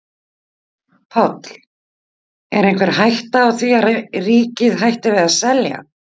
Páll: Er einhver hætta á því að ríkið hætti við að selja?